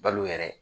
Balo yɛrɛ